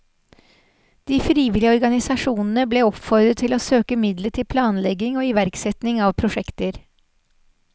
De frivillige organisasjonene ble oppfordret til å søke midler til planlegging og iverksetting av prosjekter.